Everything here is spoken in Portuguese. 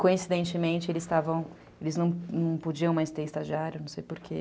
Coincidentemente, eles não podiam mais ter estagiário, não sei porquê.